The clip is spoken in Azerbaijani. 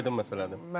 Amma aydın məsələdir.